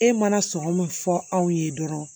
E mana sɔngɔ min fɔ aw ye dɔrɔn